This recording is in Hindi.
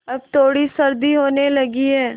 अब थोड़ी सर्दी होने लगी है